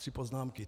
Tři poznámky.